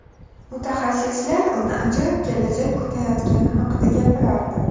Mutaxassislar uni ajoyib kelajak kutayotgani haqida gapirardi.